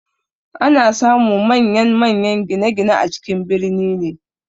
Ana samun manyan-manyan gine-gine a cikin birni ne.